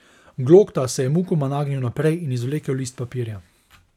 Glokta se je mukoma nagnil naprej in izvlekel list papirja.